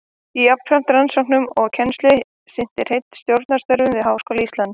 Jafnframt rannsóknum og kennslu sinnti Hreinn stjórnunarstörfum við Háskóla Íslands.